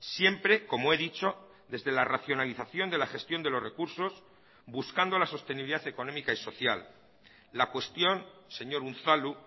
siempre como he dicho desde la racionalización de la gestión de los recursos buscando la sostenibilidad económica y social la cuestión señor unzalu